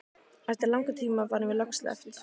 Eftir langan tíma var mér loks sleppt.